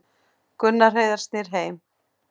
Gunnar Heiðar snýr heim